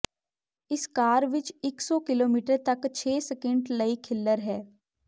ਇਸ ਕਾਰ ਵਿੱਚ ਇੱਕ ਸੌ ਕਿਲੋਮੀਟਰ ਤਕ ਛੇ ਸਕਿੰਟ ਲਈ ਖਿਲ੍ਲਰ ਹੈ